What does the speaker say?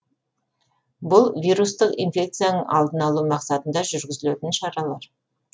бұл вирустық инфекцияның алдын алу мақсатында жүргізілетін шаралар